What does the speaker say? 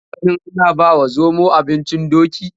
Kun taɓaganin ana bawa zomo abincin doki?